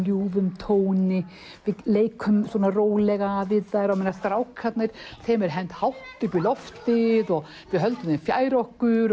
ljúfum tóni leikum svona rólega við þær á meðan strákarnir þeim er hent hátt upp í loftið og höldum þeim fjær okkur